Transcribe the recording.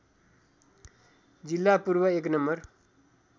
जिल्ला पूर्व १ नं